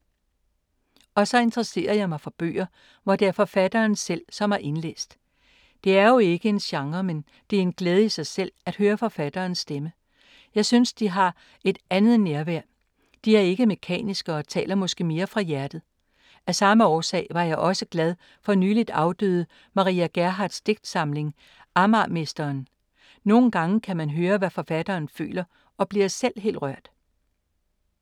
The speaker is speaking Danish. Og så interesserer jeg mig for bøger, hvor det er forfatteren selv, som har indlæst. Det er jo ikke en genre, men det er en glæde i sig selv, at høre forfatternes stemmer. Jeg synes, de har et andet nærvær. De er ikke mekaniske og taler måske mere fra hjertet. Af samme årsag var jeg også glad for nyligt afdøde Maria Gerhardts digtsamling, Amagermesteren. Nogen gange kan man høre, hvad forfatteren føler og bliver selv helt rørt.